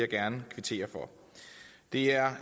gerne kvittere for det er